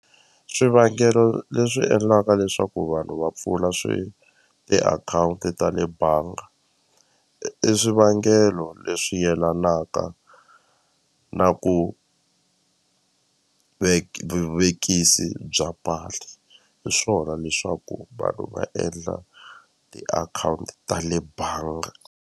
Swivangelo leswi endlaka leswaku vanhu va pfula swi tiakhawunti ta le banga i swivangelo leswi yelanaka na ku vuvekisi bya mali hi swona leswaku vanhu va endla tiakhawunti ta le banga.